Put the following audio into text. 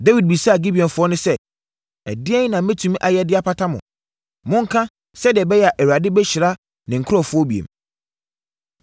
Dawid bisaa Gibeonfoɔ no sɛ, “Ɛdeɛn na mɛtumi ayɛ de apata mo? Monka, sɛdeɛ ɛbɛyɛ a Awurade bɛhyira ne nkurɔfoɔ bio.”